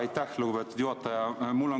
Aitäh, lugupeetud juhataja!